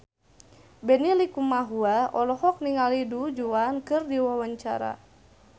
Benny Likumahua olohok ningali Du Juan keur diwawancara